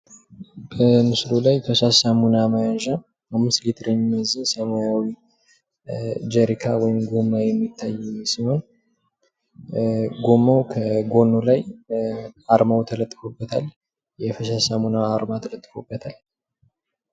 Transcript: ከምስሉ ላይ ፈሳሽ ሳሙና መያዣ 5 ሊትር የሚይዝ ሰማያዊ ጀሪካ ወይም ጎማ የሚታይ ሲሆን ጎማዉ ከጎኑ ላይ አርማዉ ተለጥፎበታል። የፈሳሽ ሳሙና አርማ ተለጥፎበታል።